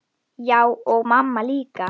Já, og mamma líka.